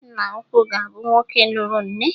Nna ukwu ga-abụ nwoke lụrụ nne.